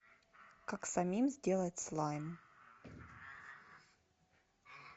как самим сделать слайм